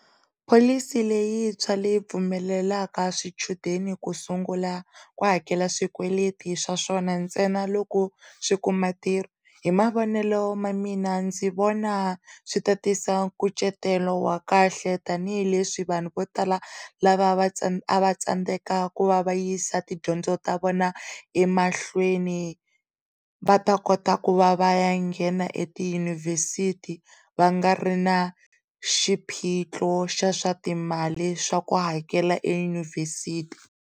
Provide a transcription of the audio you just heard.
Pholisi leyintshwa leyi pfumelelaka swichudeni ku sungula ku hakela swikweleti swa swona ntsena loko swikuma ntirho, hi mavonelo ma mina ndzi vona swi ta tisa kucetelo wa kahle tanihileswi vanhu vo tala lava a va tsandze, a va tsandzeka ku va va yisa tidyondzo ta vona emahlweni va ta kota ku va va ya nghena etiyunivhesithi va nga ri na xiphiqo xa swatimali swa ku hakela eyunivhesithi.